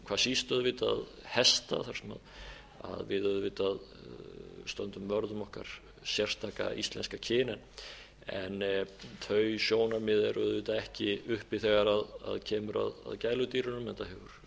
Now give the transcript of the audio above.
hvað síst auðvitað hesta þar sem við auðvitað stöndum vörð um okkar sérstaka íslenska kyn en þau sjónarmið eru auðvitað ekki uppi þegar kemur að gæludýrunum enda hefur íslenska fjárhundinum til að mynda ekki